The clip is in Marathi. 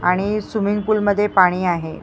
आणि स्विमिंग पूल मध्ये पाणी आहे.